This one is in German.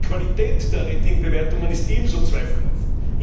Die Qualität der Rating Bewertungen ist ebenso zweifelhaft.